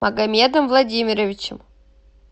магомедом владимировичем